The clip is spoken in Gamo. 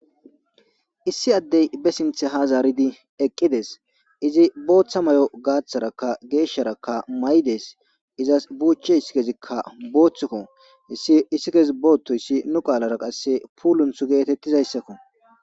issi addey be sinthe ha zaaridi eqqides izi booththa may7o gaaththaraka geeshsharaka maydees izas buuche issi kezikka booththukko ssi issi kesi boothtoyssi nu qaalara qasse puulunth geetettizayssakko